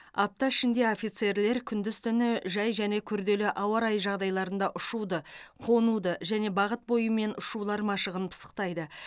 апта ішінде офицерлер күндіз түні жай және күрделі ауа райы жағдайларында ұшуды қонуды және бағыт бойымен ұшулар машығын пысықтайды